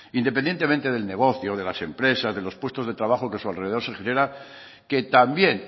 independientemente del negocio de las empresas de los puestos de trabajo que a su alrededor se generan que también